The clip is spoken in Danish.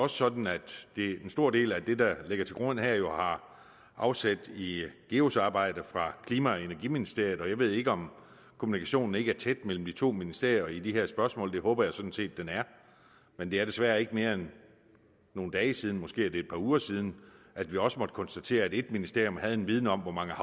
sådan at en stor del af det der ligger til grund her jo har afsæt i geus’ arbejde fra klima og energiministeriet jeg ved ikke om kommunikationen ikke er tæt mellem de to ministerier i de her spørgsmål det håber jeg sådan set den er men det er desværre ikke mere end nogle dage siden måske er det et par uger siden at vi også måtte konstatere at et ministerium havde en viden om hvor mange